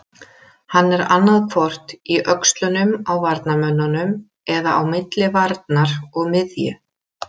Hann er annaðhvort í öxlunum á varnarmönnunum eða á milli varnar og miðju.